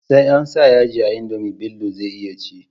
Sai ansa yaji a indomie Bello zai iya ci